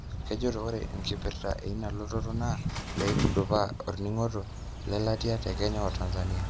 Kejoito ore enkipirta eina lototo naa peitudupaa orningo lelatia te Kenya o Tanzania.